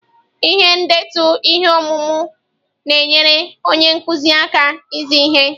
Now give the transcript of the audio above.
Ihe ndetu ihe ọmụmụ na-enyere onye nkuzi aka izi ihe.